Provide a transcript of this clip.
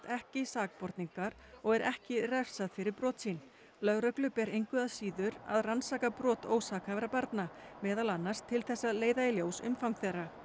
ekki sakborningar og er ekki refsað fyrir brot sín lögreglu ber engu að síður að rannsaka brot ósakhæfra barna meðal annars til þess að leiða í ljós umfang þeirra